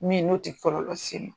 Min n'o tɛ kɔlɔlɔ seli